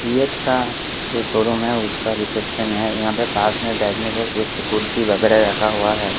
CEAT का जो showroom है उसका रिसेप्शन है यहां पे पास में बैठने का कुछ कुर्सी वगैरा रखा हुआ है।